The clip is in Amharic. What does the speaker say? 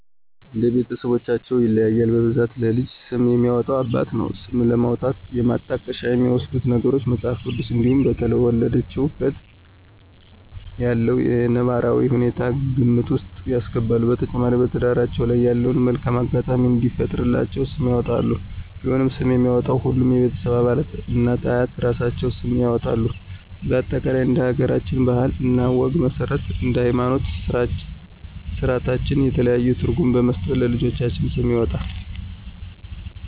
እንደ ቤተስቦቻቸው ይለያያል በብዛት ለልጅ ስም የሚያወጣ አባት ነው። ስም ለማውጣት የማጣቀሻ የሚወስዱት ነገሮች:- መጽሐፍ ቅዱስ እንዲሁም በተወለደችበት ያለውን ነባራዊ ሁኔታ ግምት ውስጥ ያስገባሉ። በተጨማሪ በትዳራቸው ላይ ያለውን መልካም አጋጣሚ እንዲፈጥርላቸው ስም ያወጣሉ። ቢሆንም ስምን የሚያወጣው ሁሉም የቤተሰብ አባላት እናት፤ አያት እራሳቸውም ስም ያወጣሉ በአጠቃላይ እንደ ሀገራችን ባህል እና ወግ መስረት እንደ ሀይማኖታዊ ስራታችን የተለያዩ ትርጉም በመስጠት ለልጆች ስም ይወጣል